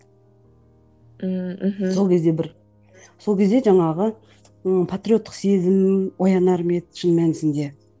м мхм сол кезде бір сол кезде жаңағы ы патриоттық сезім оянар ма еді шын мәнісінде